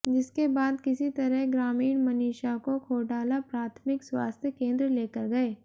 जिसके बाद किसी तरह ग्रामीण मनीषा को खोडाला प्राथमिक स्वास्थ्य केंद्र लेकर गए